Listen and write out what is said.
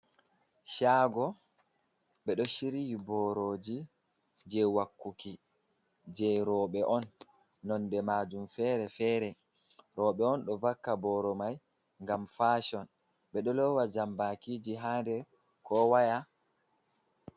Shago ɓe ɗo shiryi boroji je wakkuki je roɓe on nonde majum fere-fere, roɓe on ɗo vaka boro mai ngam fashon ɓe ɗo lowa jambakiji ha nɗer ko waya.